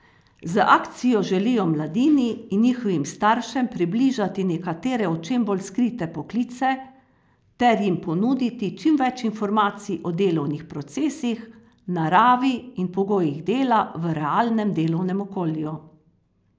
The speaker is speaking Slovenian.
Z akcijo želijo mladini in njihovim staršem približati nekatere očem bolj skrite poklice ter jim ponuditi čim več informacij o delovnih procesih, naravi in pogojih dela v realnem delovnem okolju.